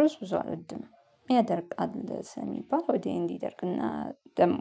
ርዕስ ብዙ አረድም ያደርቃል ሰው የሚባል ወዲህ እንዲደርቅና ደግሞ